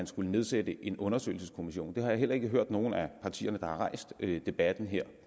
skulle nedsættes en undersøgelseskommission det har jeg heller ikke hørt nogen af partierne der har rejst debatten her